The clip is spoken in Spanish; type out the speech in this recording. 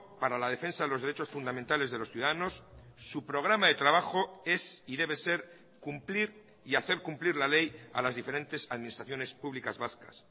para la defensa de los derechos fundamentales de los ciudadanos su programa de trabajo es y debe ser cumplir y hacer cumplir la ley a las diferentes administraciones públicas vascas